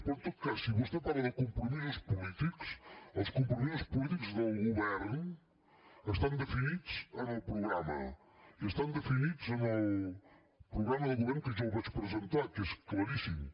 però en tot cas si vostè parla de compromisos polítics els compromisos polítics del govern estan definits en el programa i estan definits en el programa de govern que jo vaig presentar que és claríssim